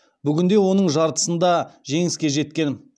бүгінде оның жартысында жеңіске жеткен